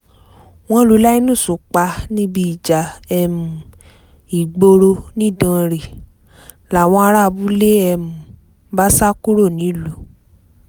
wọ́n lu linus pa níbi ìjà um ìgboro nidanre làwọn ará abúlé um bá sá kúrò nílùú